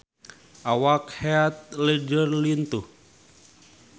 Awak Heath Ledger lintuh